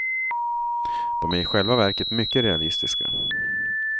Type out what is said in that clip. De är i själva verket mycket realistiska.